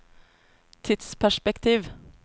tidsperspektiv